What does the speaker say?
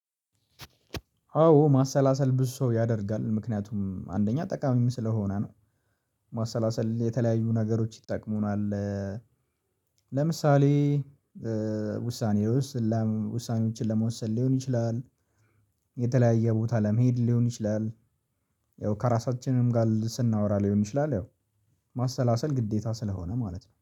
አዎ ማሰላሰል ብዙ ሰው ያደርጋል ምክንያቱም አንደኛ ጠቃሚም ስለሆነ ነው። ማሰላሰል የተለያዩ ነገሮች ይጠቅሙናል። ለምሳሌ ውሳኔ ውሳኔዎችን ለመወሰን ሊሆን ይችላል። የተለያየ ቦታ ለመሄድ ሊሆን ይችላል። ያው ከራሳችንም ጋር ስናወራ ሊሆን ይችላል ያው ማሰላሰል ግዴታ ስለሆነ ማለት ነው